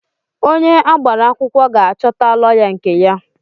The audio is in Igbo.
Onye agbara akwụkwọ ga-achọta lọya nke ya.